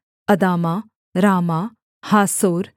Adamah Ramah Hazor